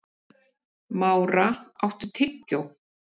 Mára, áttu tyggjó?